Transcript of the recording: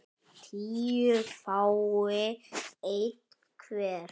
tíu fái einn hver